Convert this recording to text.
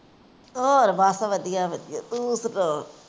ਹੋਰ ਬੱਸ ਵਧੀਆ ਵਧੀਆ, ਤੂੰ